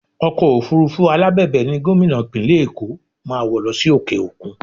Ọkọ̀ òfurufú alábẹ̀bẹ̀ ni Gómìnà Ìpínlẹ̀ Èkó máa wọ̀ lọ sí òkè òkun